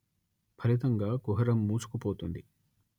ఫలితంగా కుహరం మూసుకుపోతుంది